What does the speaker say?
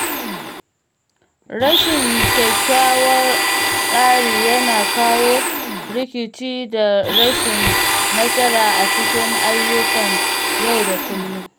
Rashin kyakkyawan tsari yana kawo rikici da rashin nasara a cikin ayyukan yau da kullum.